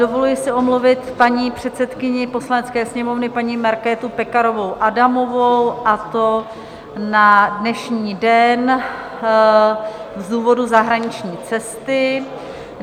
Dovoluji si omluvit paní předsedkyni Poslanecké sněmovny, paní Markétu Pekarovou Adamovou, a to na dnešní den z důvodu zahraniční cesty.